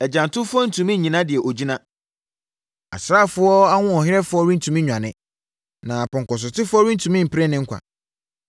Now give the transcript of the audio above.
Agyantofoɔ rentumi nnyina deɛ ɔgyina. Asraafoɔ ahoɔherɛfoɔ rentumi nnwane, na pɔnkɔsotefoɔ rentumi mpere ne nkwa.